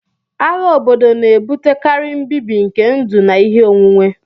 Agha obodo na-ebutekarị mbibi nke ndụ na ihe onwunwe